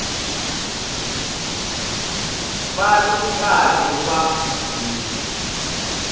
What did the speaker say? va ri karhi va n